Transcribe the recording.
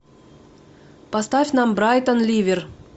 поставь нам брайтон ливер